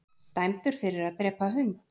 Dæmdur fyrir að drepa hund